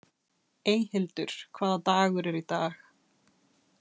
Eyhildur, hvaða dagur er í dag?